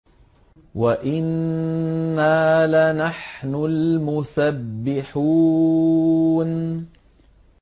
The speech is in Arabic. وَإِنَّا لَنَحْنُ الْمُسَبِّحُونَ